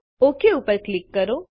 okay ઉપર click કરો